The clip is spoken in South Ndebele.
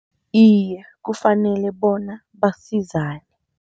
Iye, kufanele bona basizane.